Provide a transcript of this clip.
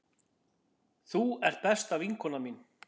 Þú ert besta vinkona mín.